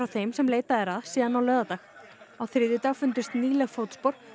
þeim sem leitað er að síðan á laugardag á þriðjudag fundust nýleg fótspor